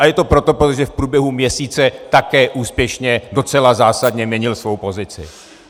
A je to proto, protože v průběhu měsíce také úspěšně, docela zásadně měnil svou pozici.